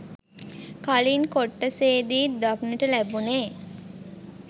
කලින් කොටසේදී දක්නට ලැබුනේ.